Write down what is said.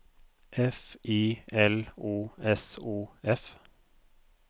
F I L O S O F